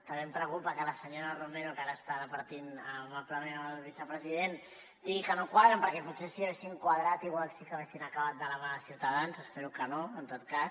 també em preocupa que a la senyora romero que ara està departint amablement amb el vicepresident digui que no quadren perquè potser si haguéssim quadrat potser sí que haguessin acabat de la mà de ciutadans espero que no en tot cas